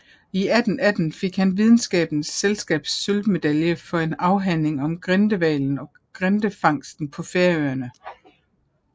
I 1818 fik han Videnskabernes Selskabs sølvmedalje for en afhandling om grindehvalen og grindefangsten på Færøerne